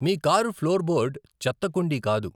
మీ car floorboard చెత్త కుండీ కాదు.